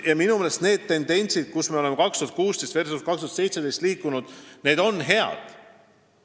Ja kui võrrelda aastaid 2016 ja 2017, siis on minu meelest näha häid tendentse.